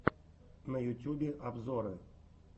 на ютюбе обзоры